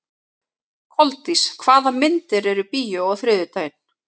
Koldís, hvaða myndir eru í bíó á þriðjudaginn?